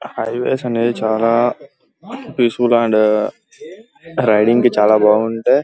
High వేస్ అనేవి చాల peaceful and riding కి చాలా బావుంటాయి.